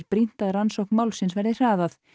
brýnt að rannsókn málsins verði hraðað